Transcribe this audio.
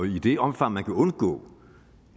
i det omfang man kan undgå